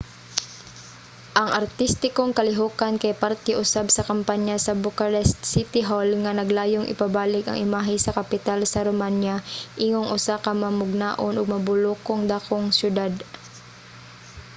ang artistikong kalihukan kay parte usab sa kampanya sa bucharest city hall nga naglayong ipabalik ang imahe sa kapital sa romania ingong usa ka mamugnaon ug mabulokong dakong siyudad